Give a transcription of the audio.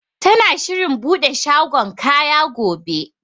Tana shirin buɗe shagon kaya gobe.